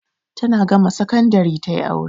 Tana gama sakandari ta yi aure.